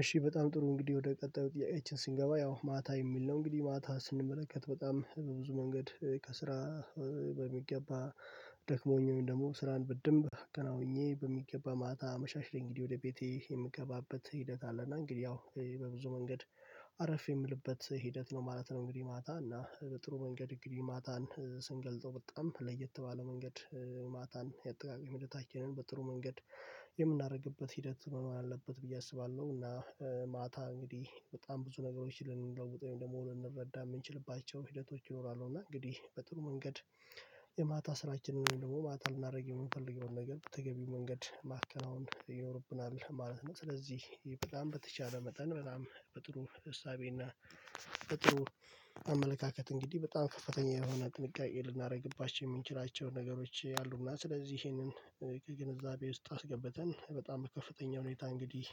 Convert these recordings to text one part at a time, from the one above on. እሺ በጣም ጥሩ እንግዲህ ወደ ቀጣዩ ጥያቄያችን ስንገባ ያው ማታ የሚል ነው እንግዲህ ማታ ስንመለከት በጣም ብዙ መንገድ ከስራ በሚገባ ደክሞኝ ወይም ደግሞ ስራን በንብ አከናውኘ በሚገባ ማታ አመሻሽ እንግዲህ ወደ ቤቴ የምገባበት ሂደት አለ እና እንግዲህ ያው በብዙ መንገድ አረፍ የምልበት ሂደት ነው ማለት ነው። እንግዲህ ማታ እና በጥሩ መንገድ እንግዲህ ማታን ስንገልጠው በጣም ለየት ባለ መንገድ ማታን የአጠቃቀም ህደታችንን በጥሩ መንገድ የምናደርግበት ሂደት መሆን አለበት ብዬ አስባለሁ እና ማታ እንግዲህ በጣም ብዙ ነገሮች ልንለውጠው ወይም ደግሞ ልንረዳ የምንችልባቸው ሂደቶች ይኖራሉ እና እንግዲህ በጥሩ መንገድ የማታ ስራችንን ደግሞ ማታ ልናደርገው የምንፈልገውን ነገር በተገቢው መንገድ ማከናወን ይኖርብናል ማለት ነው። ስለዚህ በጣም በተቻለ መጠን በጣም በጥሩ እሳቤ እና አመለካከት እንግዲህ በጣም ከፍተኛ የሆነ ጥንቃቄ ልናደርግባቸው የምንችላቸው ነገሮች አሉና ስለዚህ ይሄንን ከግንዛቤ ውስጥ አስገብተን በጣም ከፍተኛ ሁኔታ እንግዲህ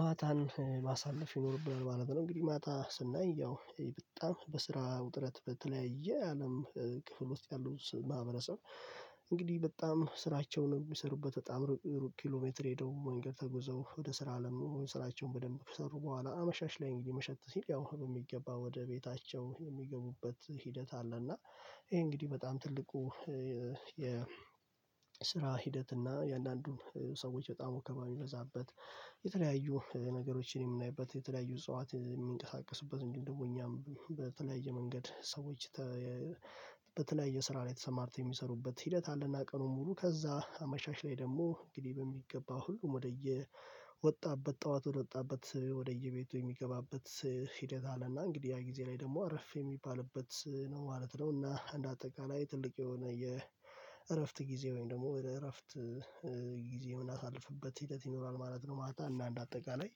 ማታን ማሳለፍ ይኖርብናል ማለት ነው። እንግዲህ ማታ ስናይ ያው በጣም በስራ ውጥረት በተለያየ አለም ክፍል ውስጥ ያሉ ማህበረሰብ እንግዲህ በጣም ስራቸውን የሚሰሩበት በጣም ሩቅ ኪሎ ሜትር ሄደው መንገድ ተጉዘው ወደ ስራ አለም ስራቸውን በደንብ ከሰሩ በኋላ አመሻሽ ላይ እንግዲህ መሸት ሲል ያው በሚገባ ወደ ቤታቸው የሚገቡበት ሂደት አለ። እና ይሄ እንግዲህ በጣም ትልቁ የስራ ሂደት እና የአንዳንዱን ሰዎች በጣም ወከባ የሚበዛበት የተለያዩ ነገሮችን የሚናይበት የተለያዩ እጽዋት የሚንቀሳቀሱበት እንዲሁም ደግሞ እኛም በተለያየ መንገድ ሰዎች በተለያየ ስራ ላይ ተሰማርተው የሚሰሩበት ሂደት አለና ቀኑን ሙሉ ከዛ አመሻሽ ላይ ደግሞ እንግዲህ በሚገባ ሁሉም ወደየወጣበት ጠዋት ወደወጣበት ወደየቤቱ የሚገባበት ሂደት አለና እንግዲህ ያ ጊዜ ላይ ደግሞ አረፍ የሚባልበት ነው ማለት ነው። እና እንደ አጠቃላይ ትልቅ የሆነ የእረፍት ጊዜ ወይም ደግሞ የእረፍት ጊዜ ምናሳልፍበት ሂደት ይኖራል ማለት ነው። ማለት እና እንደ አጠቃላይ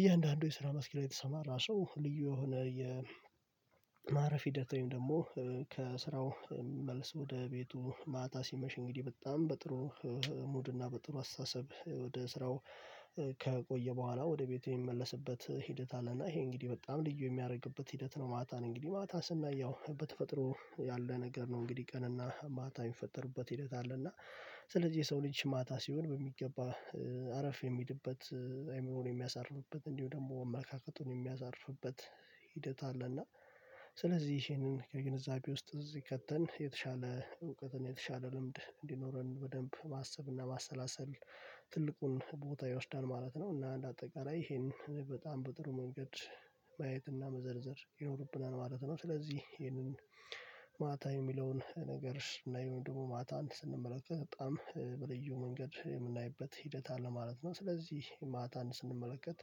እያንዳንዱ የስራ መስክ ላይ የተሰማራ ሰው ልዩ የሆነ የማረፍ ሂደት ወይም ደግሞ ከስራው መልስ ወደ ቤቱ ማታ ሲመሽ እንግዲህ በጣም በጥሩ ሙድና በጥሩ አስተሳሰብ ወደ ስራው ከቆየ በኋላ ወደ ቤቱ የሚመለስበት ሂደት አለና ይሄ እንግዲህ በጣም ልዩ የሚያደርግበት ሂደት ነው። ማታን እንግዲህ ማታ ስናይ ያው በተፈጥሮ ያለ ነገር ነው እንግዲህ ቀንና ማታ የሚፈጠሩበት ሂደት አለ። እና ስለዚህ የሰው ልጅ ማታ ሲሆን በሚገባ አረፍ የሚልበት አይምሮን የሚያሳርፍበት እንዲሁ ደግሞ አመለካከቱን የሚያዛርፍበት ሂደት አለና ስለዚህ ይሄንን ከግንዛቤ ውስጥ እዚህ ከተን የተሻለ እውቀትን የተሻለ ልምድ እንዲኖረን በደንብ ማሰብ እና ማሰላሰል ትልቁን ቦታ ይወስዳል ማለት ነው። እና እንደ አጠቃላይ ይሄንን በጣም በጥሩ መንገድ ማየትና መዘርዘር ይኖርብናል ማለት ነው። ስለዚህ ይህንን ማታ የሚለውን ነገር ስናይ ወይም ደግሞ ማታን ስንመለከት በጣም በልዩ መንገድ የምናይበት ሂደት አለ ማለት ነው። ስለዚህ ማታን ስንመለከት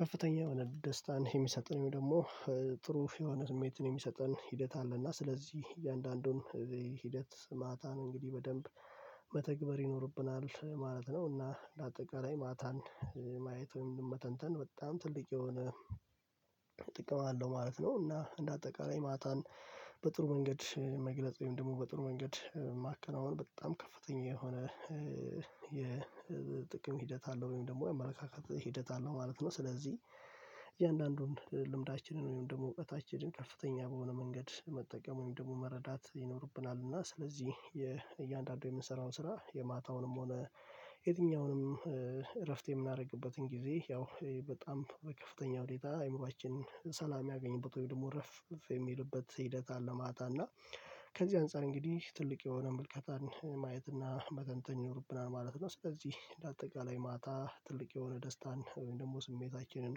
ከፍተኛ የሆነ ደስታን የሚሰጠን ወይም ደግሞ ጥሩ የሆነ ስሜትን የሚሰጠን ሂደት አለ እና ስለዚህ እያንዳንዱን ሂደት ማታን እንግዲህ በደንብ መተግበር ይኖርብናል ማለት ነው። እና እንደ አጠቃላይ ማታን ማየት ወይም መተንተን በጣም ትልቅ የሆነ ጥቅም አለው ማለት ነው። እና እንደ አጠቃላይ ማታን በጥሩ መንገድ መግለጽ ወይም ደግሞ በጥሩ መንገድ ማከናወን በጣም ከፍተኛ የሆነ የጥቅም ሂደት አለው ወይም ደግሞ የአመለካከት ሂደት አለው ማለት ነው። ስለዚህ እያንዳንዱን ልምዳችንን ወይም ደግሞ እውቀታችንን ከፍተኛ በሆነ መንገድ መጠቀም ወይም ደግሞ መረዳት ይኖርብናል እና ስለዚህ የእያንዳንዱ የምንሰራው ስራ የማታውንም ሆነ የትኛውንም እረፍት የምናደርግበትን ጊዜ ያው በጣም ከፍተኛ ሁኔታ አይምሮአችንን ሰላም ምያገኘበት ወይ ደግሞ እረፍ የሚልበት ሂደት አለ ማታ እና ከዚህ አንፃር እንግዲህ ትልቅ የሆነ ምልከታን ማየት እና መተንተን ይኖርብናል ማለት ነው። ስለዚህ እንደ አጠቃላይ ማታ ትልቅ የሆነ ደስታን ወይም ደግሞ ስሜታችንን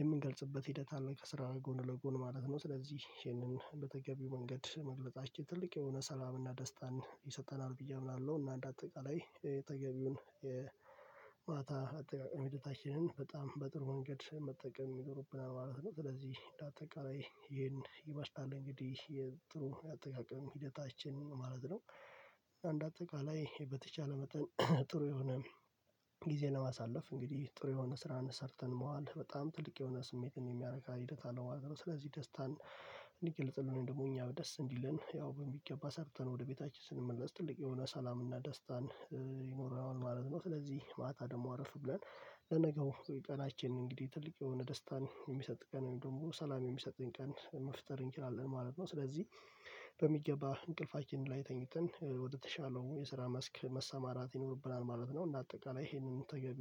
የምንገልጽበት ሂደት አለ ከስራ ጎን ለጎን ማለት ነው። ስለዚህ ይህንን እንደተገቢው መንገድ መግለጻችን ትልቅ የሆነ ሰላምና ደስታን ይሰጠናል ብዬ አምናለሁ እና አንድ አጠቃላይ የተገቢውን የማታ አጠቃቀም ህደታችንን በጣም በጥሩ ወንገድ መጠቀም ይኖርብናል ማለት ነው። ስለዚህ እንደ አጠቃላይ ይሄን ይመስላል እንግዲህ የጥሩ አጠቃቀም ሂደታችንን ማለት ነው። እንደ አጠቃላይ በተቻለ መጠን ጥሩ የሆነ ጊዜ ለማሳለፍ እንግዲህ ጥሩ የሆነ ስራን ሰርተን መዋል በጣም ትልቅ የሆነ ስሜትን የሚያረካ ሂደት አለው ማለት ነው። ስለዚህ ደስታን እንድገልጽልን ወይም ደግሞ እኛ ደስ እንዲለን ያው በሚገባ ሰርተን ወደ ቤታችን ስንመለስ ትልቅ የሆነ ሰላምና ደስታን ይኖረዋል ማለት ነው። ስለዚህ ማታ ደግሞ አረፍ ብለን ለነገው ቀናችን እንግዲህ ትልቅ የሆነ ደስታን የሚሰጥ ቀን ወይም ደግሞ ሰላም የሚሰጥን ቀን መፍጠር እንችላለን ማለት ነው። ስለዚህ በሚገባ እንቅልፋችን ላይ ተኝተን ወደተሻለው የስራ መስክ መሰማራት ይኖርብናል ማለት ነው። እና አጠቃላይ ይሄንን ተገቢ